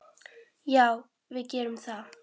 Já, við gerum það.